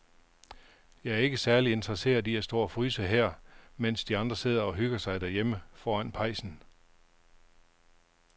Jeg er ikke særlig interesseret i at stå og fryse her, mens de andre sidder og hygger sig derhjemme foran pejsen.